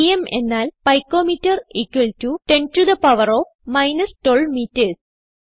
PM എന്നാൽ pico metre 10 to the power of minus 12 metres